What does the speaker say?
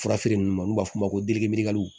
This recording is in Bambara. Furafeere ninnu n'u b'a f'o ma ko